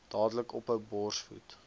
dadelik ophou borsvoed